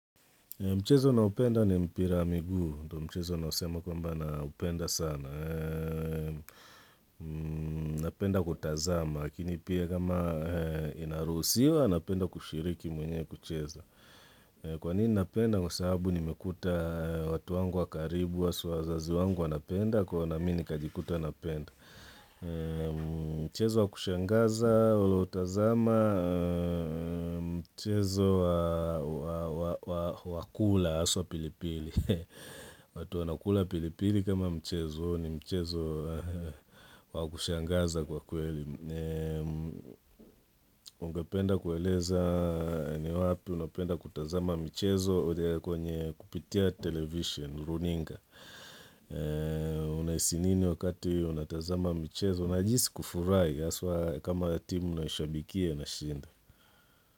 Mchezo naupenda ni mpira wa miguu, mchezo nausema kwamba naupenda sana. Napenda kutazama, lakini pia kama inaruhusiwa, napenda kushiriki mwenyewe kuchezo. Kwa nini napenda kwa sababu nimekuta watu wangu wa karibu, wasu wazazi wangu wanapenda, kuwa na mimi nikajikuta napenda. Mchezo wa kushangaza ula utazama mchezo wa kula haswa pilipili watu wanakula pilipili kama mchezo ni mchezo wa kushangaza kwa kweli Ungependa kueleza ni wapi unapenda kutazama mchezo kwenye kupitia television, runinga Unahisi nini wakati unatazama michezo. Unajihisi kufurahi haswa kama timu unaishabikia inashinda.